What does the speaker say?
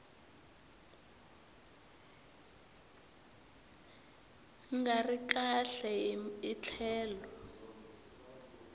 nga ri kahle hi tlhelo